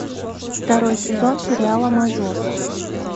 второй сезон сериала мажор